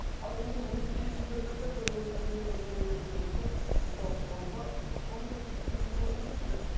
ал енді өзі келісім беріп жатырса бір мен өлген соң мені өртеңдер десе онда оны да оның да сол пікірін құрметтеу керек шығар